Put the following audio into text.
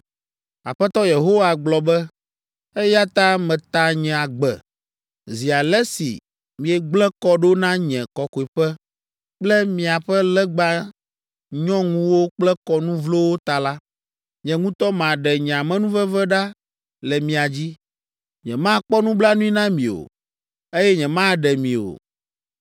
Aƒetɔ Yehowa gblɔ be, ‘Eya ta meta nye agbe, zi ale si miegblẽ kɔ ɖo na nye Kɔkɔeƒe kple miaƒe legba nyɔŋuwo kple kɔnu vlowo ta la, nye ŋutɔ maɖe nye amenuveve ɖa le mia dzi. Nyemakpɔ nublanui na mi o, eye nyemaɖe mi o.